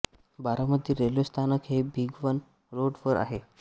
Baramati railway स्थानक हे Bhigwan road वर आहे